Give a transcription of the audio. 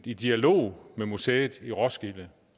i dialog med museet i roskilde